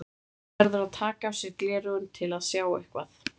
Hann verður að taka af sér gleraugun til að sjá eitthvað.